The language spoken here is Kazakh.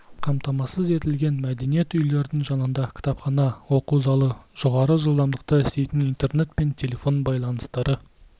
қамтамасыз етілген мәдениет үйлерінің жанында кітапхана оқу залы жоғары жылдамдықта істейтін интернет пен телефон байланыстары